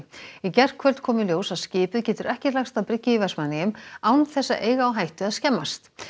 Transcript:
í gærkvöldi kom í ljós að skipið getur ekki lagst að bryggju í Vestmannaeyjum án þess að eiga á hættu að skemmast